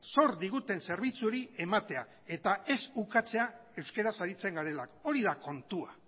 zor diguten zerbitzu hori ematea eta ez ukatzea euskaraz aritzen garelako hori da kontua